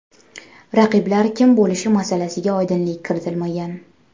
Raqiblar kim bo‘lishi masalasiga oydinlik kiritilmagan.